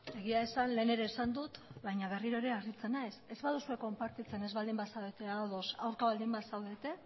egia esan lehen ere esan dut baina berriro ere harritzen naiz ez baduzue konpartitzen ez baldin bazaudete ados aurka baldin bazaudete